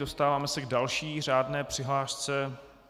Dostáváme se k další řádné přihlášce.